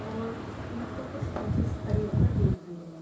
और उनको कुछ टीचर्स खड़े होकर देख भी रहे हैं।